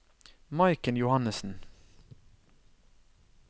Maiken Johannesen